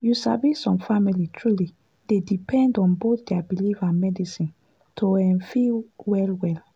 you sabi some people truly dey depend on both their belief and medicine to um feel well well.